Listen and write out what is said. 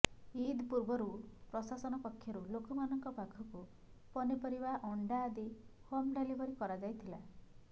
ଇଦ୍ ପୂର୍ବରୁ ପ୍ରଶସନ ପକ୍ଷରୁ ଲୋକମାନଙ୍କ ପାଖକୁ ପନିପରିବା ଅଣ୍ଡା ଆଦି ହୋମ ଡେଲିଭରି କରାଯାଇଥିଲା